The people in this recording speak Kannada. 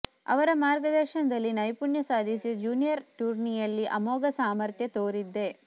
ಅವರ ಮಾರ್ಗದರ್ಶನ ದಲ್ಲಿ ನೈಪುಣ್ಯ ಸಾಧಿಸಿ ಜೂನಿಯರ್ ಟೂರ್ನಿಗಳಲ್ಲಿ ಅಮೋಘ ಸಾಮರ್ಥ್ಯ ತೋರಿದ್ದೆ